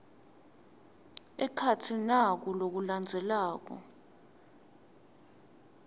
ekhatsi naku lokulandzelako